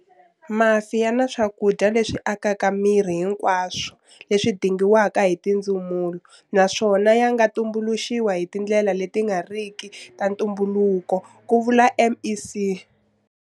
Mafi ya na swakudya leswi akaka miri hinkwaswo leswi dingiwaka hi tindzumulo naswona ya nga tumbuluxiwi hi tindlela leti nga riki ta ntumbuluko, ku vula MEC.